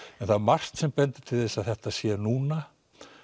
en það er margt sem bendir til þess að þetta sé núna